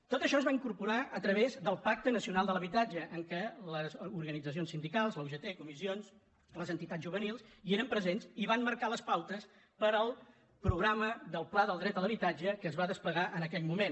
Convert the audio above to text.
tot això es va incorporar a través del pacte nacional per a l’habitatge en què les organitzacions sindicals la ugt comissions les entitats juvenils hi eren presents i van marcar les pautes per al programa del pla per al dret a l’habitatge que es va desplegar en aquell moment